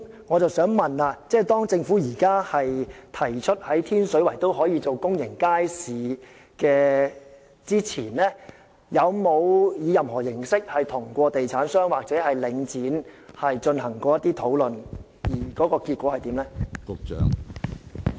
我想問政府在提出於天水圍興建公營街市前，有否與地產商或領展進行任何形式的討論，而結果為何？